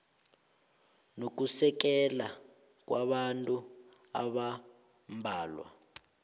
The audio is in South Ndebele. nokusekela kwabantu abambalwa